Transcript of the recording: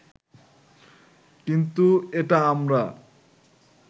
কিন্তু এটা আমরা